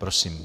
Prosím.